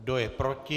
Kdo je proti?